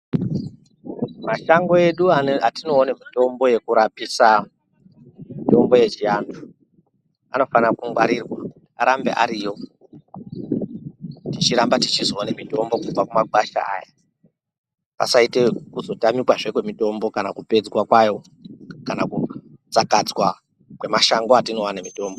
Mashango edu atinoone mitombo yekurapisa anhu ,mitombo yechianhu anofane kungwarirwa arambe ariyo tichirambe techizoona mitombo kubve kumagwasha aya pasaite kuzotamikazve kwemitombo kana kupedzwa kwayo kana kutsakadzwa kwemashango atinoone mitombo.